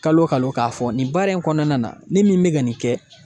Kalo kalo k'a fɔ nin baara in kɔnɔna na ne min bɛ ka nin kɛ